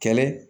Kɛlɛ